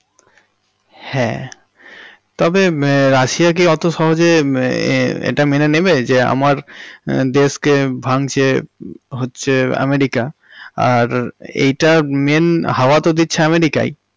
হ্যাঁ তবে মম রাশিয়া কি অত সহজে মম ইহঃ এটা মেনে নেবে যে আমার দেশকে ভাঙছে হচ্ছে আমেরিকা আর এটার main হাওয়া তো দিচ্ছে আমেরিকাই।